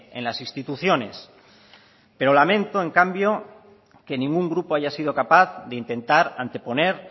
en las instituciones pero lamento en cambio que ningún grupo haya sido capaz de intentar anteponer